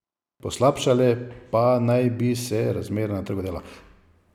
Poslabšale pa naj bi se razmere na trgu dela.